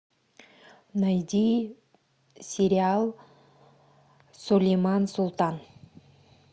найди сериал сулейман султан